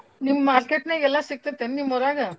ನಿಮ್ಗ market ನಾಗ್ಎಲ್ಲಾ ಸಿಗ್ತೆೇತನು ನಿಮ್ಮ ಊರಾಗ?